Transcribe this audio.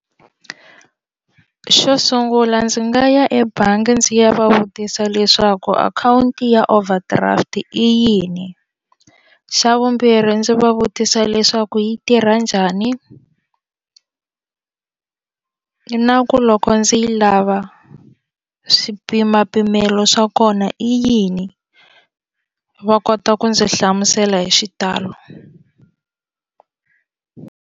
Xo sungula ndzi nga ya ebangi ndzi ya va vutisa leswaku akhawunti ya overdraft i yini xa vumbirhi ndzi va vutisa leswaku yi tirha njhani na ku loko ndzi yi lava swipimapimelo swa kona i yini va kota ku ndzi hlamusela hi xitalo.